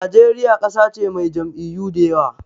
Najeriya ƙasa ce mai jam'iyyu da yawa.